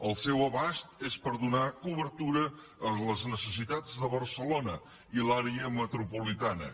el seu abast és per donar cobertura a les necessitats de barcelona i l’àrea metropolitana